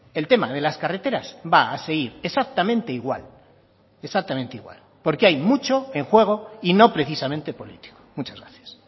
el tema de las carreteras va a seguir exactamente igual exactamente igual porque hay mucho en juego y no precisamente político muchas gracias